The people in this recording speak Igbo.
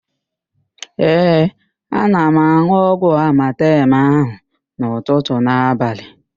Ee, ana m an̄ụ ọgwụ amatem ahụ n'ụtụtụ na abalị.